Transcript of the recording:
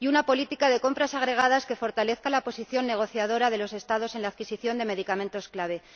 y una política de compras agregadas que fortalezca la posición negociadora de los Estados en la adquisición de medicamentos clave.